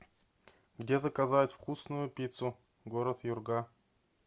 где заказать вкусную пиццу город юрга